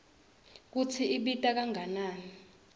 kutsi ibita kangakanani